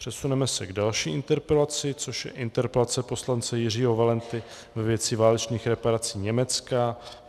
Přesuneme se k další interpelaci, což je interpelace poslance Jiřího Valenty ve věci válečných reparací Německa.